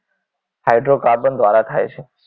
Hydrocarbon દ્વારા થાય છે